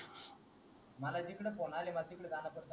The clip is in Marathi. मला जिकडे फोन आले मला तिकडं जाण पडत